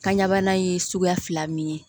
Kanɲɛ bana ye suguya fila min ye